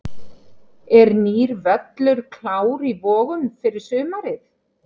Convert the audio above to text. Er nýr völlur klár í Vogum fyrir sumarið?